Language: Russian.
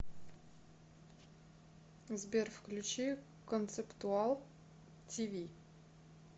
сбер включи концептуал ти ви